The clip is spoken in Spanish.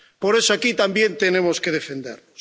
Por eso aquí también tenemos que defendernos.